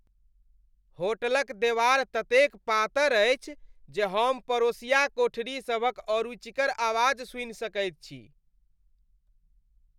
होटलक देवार ततेक पातर अछि जे हम पड़ोसिया कोठरी सभक अरुचिकर आवाज सुनि सकैत छी।